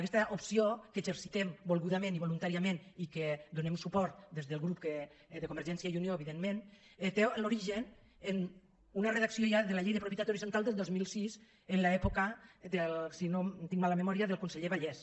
aquesta opció que exercitem volgudament i voluntàriament i a què donem suport des del grup de convergència i unió evidentment té l’origen en una redacció ja de la llei de propietat horitzontal del dos mil sis en l’època si no tinc mala memòria del conseller vallès